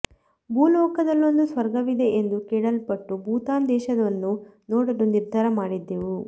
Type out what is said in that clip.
ಭೂ ಲೋಕದಲ್ಲೊಂದು ಸ್ವರ್ಗವಿದೆ ಎಂದು ಕೇಳಲ್ಪಟ್ಟು ಭೂತಾನ ದೇಶವನ್ನು ನೋಡಲು ನಿರ್ಧಾರ ಮಾಡಿದ್ದೆವು